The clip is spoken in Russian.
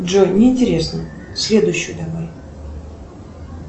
джой не интересно следующую давай